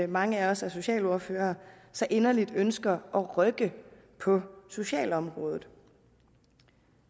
mange af os er socialordførere så inderligt ønsker at rykke på socialområdet